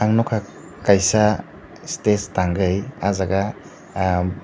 nogkha kaisa stage tangoi ahjaga.